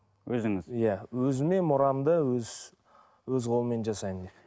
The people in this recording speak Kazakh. өзіңіз иә өзіме мұрамды өз өз қолыммен жасаймын деп